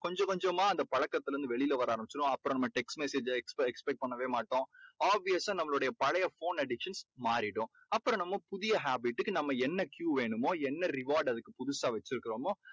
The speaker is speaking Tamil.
கொஞ்சம் கொஞ்சமா நம்ம அந்த பழக்கத்திலேந்து வெளியே வர ஆரம்பிச்சுடுவோம். அப்புறம் நம்ம text message expe~ expect பண்ணவே மாட்டோம். obvious சா நம்மளுடைய பழைய phone addiction மாறிடும். அப்புறம் நம்ம புதிய habit டுக்கு நம்ம என்ன Q வேணுமோ என்ன reward அதுக்கு புதுசா வெச்சுருக்கிறமோ